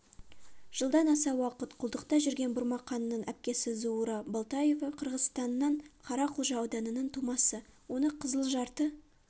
жылдан аса уақыт құлдықта жүрген бұрмақанның әпкесі зуура болтоева қырғызстанның қара-құлжа ауданының тумасы оны қызыл жарты